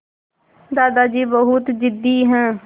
दादाजी बहुत ज़िद्दी हैं